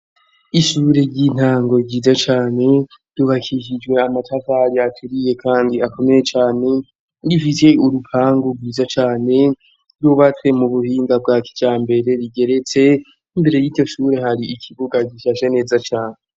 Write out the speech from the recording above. Ishure ry'intango ryiza cane yubakishijwe amatavari aturiye, kandi akomeye cane. Rifise urupangu rwiza cane rw'ubatswe mu buhinga bwa kicambere rigeretse. Imbere y'iryo shuri, har'ikibuga gishashe neza cane.